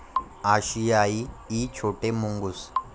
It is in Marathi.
आशियाई इ छोटे मुंगूस